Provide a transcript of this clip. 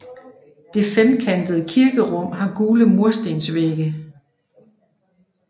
Det femkantede kirkerum har gule murstensvægge